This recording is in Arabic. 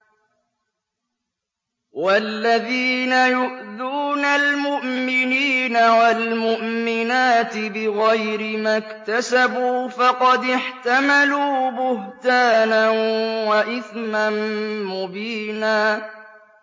وَالَّذِينَ يُؤْذُونَ الْمُؤْمِنِينَ وَالْمُؤْمِنَاتِ بِغَيْرِ مَا اكْتَسَبُوا فَقَدِ احْتَمَلُوا بُهْتَانًا وَإِثْمًا مُّبِينًا